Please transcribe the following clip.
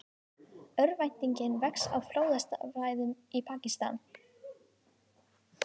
Örvæntingin vex á flóðasvæðum í Pakistan